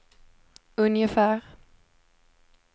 ungefär